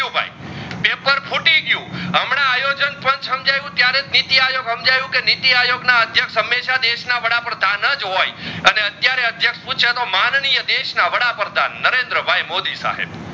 પણ સમજાયું ત્યરેહ નીતિઆયોગ સમજાયું ત્યરેહ નીતીઆયોગ અદ્ક્ષ્યક્ષ હમેશા દેશ ના વડા પ્રધાન જ હોય અને અતીયારે અદ્ક્ષ્યક્ષ પૂછ માનીનીય દેશ ના વડાપ્રધાન નરેન્દ્ર ભાઈ મોદી સાહેબ